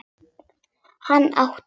Handa átta